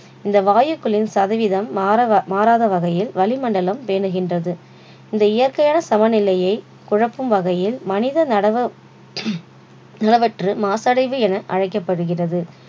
இந்த வாயுக்களின் சதவிதம் மாறாக~மாறாத வகையில் வளிமண்டலம் பேணுகின்றது. இந்த இயற்கையான சமநிலையை குழப்பும் வகையில் மனிதனின் நடவ~ மாசடைவு என அழைக்கப்படுகிறது